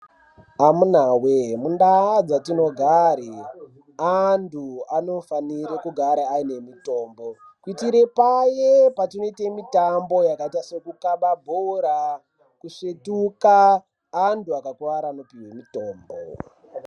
Amunaa wee mundaa dzatinogare antu anofanire kugara aine mutombo kuitire paya patinoite mutambo yakaite sekukaba bhora kusvetuke antu akakuwara anopuwe mutombo.